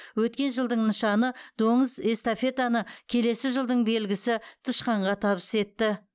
өткен жылдың нышаны доңыз эстафетаны келесі жылдың белгісі тышқанға табыс етті